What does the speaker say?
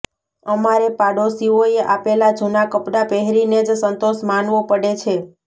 અમારે પાડોશીઓએ આપેલા જુના કપડા પહેરીને જ સંતોષ માનવો પડે છે